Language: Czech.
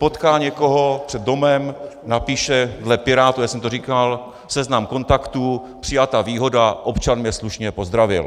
Potká někoho před domem, napíše dle Pirátů, já jsem to říkal, seznam kontaktů, přijata výhoda: občan mě slušně pozdravil.